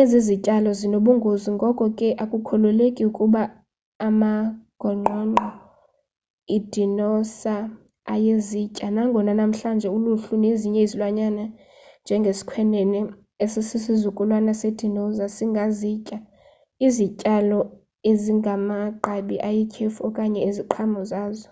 ezi zityalo zinobungozi ngoko ke akukholeleki ukuba amagongqongqo idinosa ayezitya nangona namhlanje uluhlu nezinye izilwanyana njenge sikhwenene esisizukulwana se dinoza singazitya izityalo ezimagqabi ayityhefu okanye iziqhamo zazo